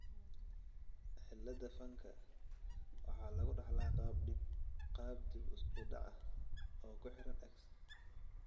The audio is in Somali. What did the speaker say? cilada fanka waxaa lagu dhaxlaa qaab dib u dhac ah oo ku xiran X.